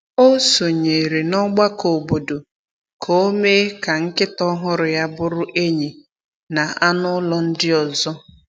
O sonyeere n’ọgbakọ obodo ka o mee ka nkịta ọhụrụ ya bụrụ enyi na anụ ụlọ ndị ọzọ.